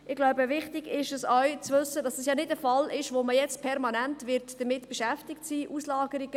Ich glaube, es ist auch wichtig zu wissen, dass das ja nicht ein Fall ist, mit dem man jetzt permanent beschäftigt sein wird.